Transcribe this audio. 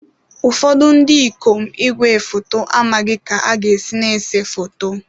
Ụfọdụ ndị ikom igwefoto amaghị ka ha ga-esi na-ese foto.